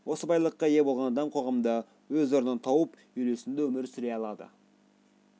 осы байлыққа ие болған адам қоғамда өз орнын тауып үйлесімді өмір сүре алады